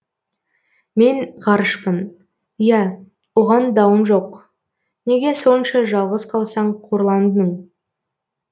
мен ғарышпын ия оған дауым жоқ неге сонша жалғыз қалсаң қорландың